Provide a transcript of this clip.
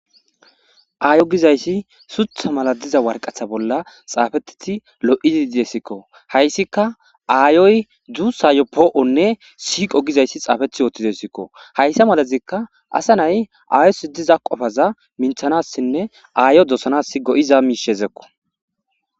aayo gizayssi sutha mala diza warqatha bolla xaafetiti lo7idi diesikko hayssika aayoy dzuu sayo poo7onne siiqo gizayssi xaafethi yoothtidesikko hayssa malazikka asa nay aayo si diza qofaza minthanassinne aayo dosanas go7iza miishezekko